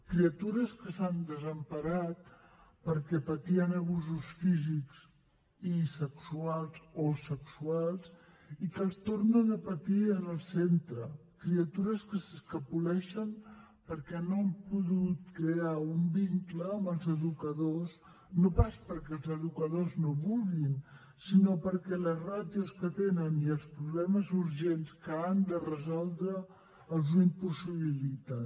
criatures que s’han desemparat perquè patien abusos físics i sexuals o sexuals i que els tornen a patir en el centre criatures que s’escapoleixen perquè no han pogut crear un vincle amb els educadors no pas perquè els educadors no vulguin sinó perquè les ràtios que tenen i els problemes urgents que han de resoldre els ho impossibiliten